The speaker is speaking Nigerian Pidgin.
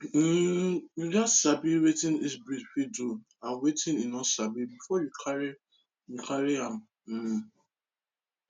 um you gats sabi wetin each breed fit do and wetin e no sabi before you carry you carry am um